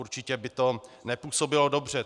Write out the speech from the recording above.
Určitě by to nepůsobilo dobře.